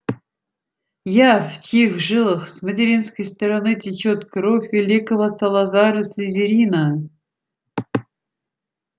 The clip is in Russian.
я в чьих жилах с материнской стороны течёт кровь великого салазара слизерина